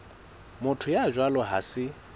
motho ya jwalo ha se